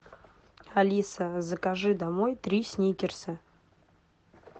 алиса закажи домой три сникерса